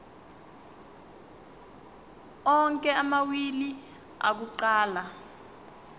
onke amawili akuqala